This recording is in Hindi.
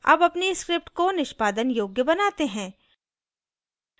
अब अपनी script को निष्पादन योग्य बनाते हैं